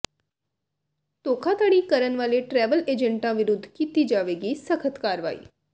ਧੋਖਾਧੜੀ ਕਰਨ ਵਾਲੇ ਟ੍ਰੈਵਲ ਏਜੰਟਾਂ ਵਿਰੁੱਧ ਕੀਤੀ ਜਾਵੇਗੀ ਸਖ਼ਤ ਕਾਰਵਾਈ